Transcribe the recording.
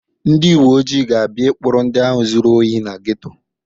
Ndị uwe ojii ga-abịa ịkpụrụ ndị ahụ zuru ohi na geto.